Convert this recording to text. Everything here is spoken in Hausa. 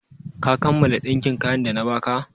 Ka kammala ɗinkin kayan da na ba ka?